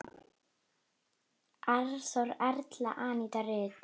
Arnþór, Erla og Aníta Rut.